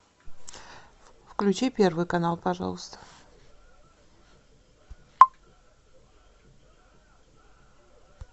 включи первый канал пожалуйста